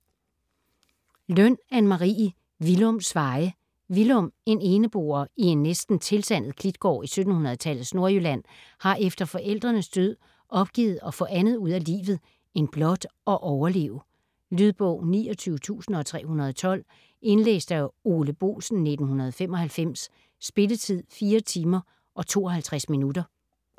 Løn, Anne Marie: Willums veje Willum - eneboer i en næsten tilsandet klitgård i 1700-tallets Nordjylland - har efter forældrenes død opgivet at få andet ud af livet end blot at overleve. Lydbog 29312 Indlæst af Ole Boesen, 1995. Spilletid: 4 timer, 52 minutter.